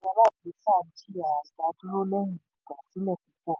ohun èlò báńkì alágbèéká jìyà ìdádúró lẹ́yìn ìgbàsílẹ̀ púpọ̀.